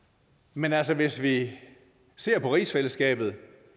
men altså hvis vi ser på rigsfællesskabet